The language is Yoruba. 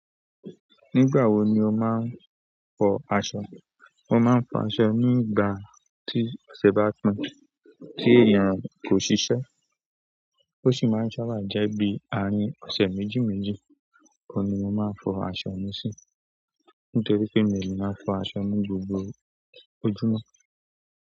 Nígbà wo ni o máa ń fọ aṣọ? Mo máa ń fọ aṣọ ní ìgbà tí ọ̀sẹ̀ bá tán, tí èèyàn kò ṣiṣẹ́. Ó sì máa ń sábà jẹ́ bí àárín ọ̀sẹ̀ méjì méjì oun ni mo máa fọ aṣọ mi sí. Nítorí pé mi ò lè máa fọ aṣọ ní gbogbo ojúmọ́.